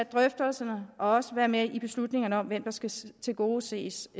drøftelserne og også at være med i beslutningerne om hvem der skal tilgodeses